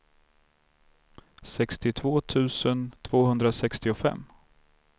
sextiotvå tusen tvåhundrasextiofem